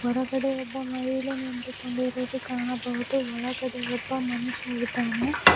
ಹೊರಗಡೆ ಒಬ್ಬ ಮಹಿಳೆ ನಿಂತುಕೊಂಡಿರುವುದು ಕಾಣಬಹುದು ಒಳಗಡೆ ಒಬ್ಬ ಮನುಷ್ಯ ಇದ್ದಾನೆ.